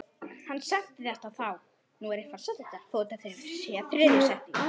Heldur hverjum þá?